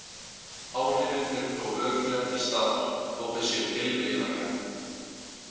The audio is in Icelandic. Áhrifin eru þó örugglega til staðar, þó þau séu tilviljanakennd.